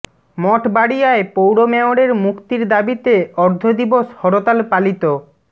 মঠবাড়িয়ায় পৌর মেয়রের মুক্তির দাবিতে অর্ধ দিবস হরতাল পালিত